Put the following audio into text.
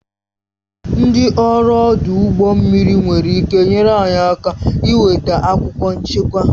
Ndị ọrụ ọdụ ụgbọ mmiri nwere ịke nyere anyị aka nweta akwụkwọ nchekwa